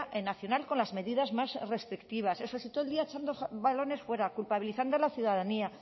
nacional con las medidas más restrictivas eso sí todo el día echando balones fuera culpabilizando a la ciudadanía